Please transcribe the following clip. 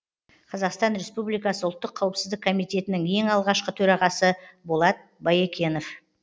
қазақстан республикасы ұлттық қауіпсіздік коммитетінің ең алғашқы төрағасы болат баекенов